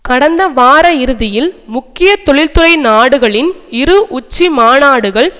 கடந்த வார இறுதியில் முக்கிய தொழில்துறை நாடுகளின் இரு உச்சி மாநாடுகள்